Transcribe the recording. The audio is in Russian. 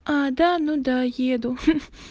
а да ну да еду ха-ха